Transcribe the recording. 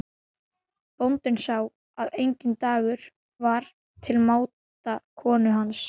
Bóndinn sá að enginn dagur var til máta konu hans.